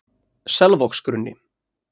Selvogsgrunni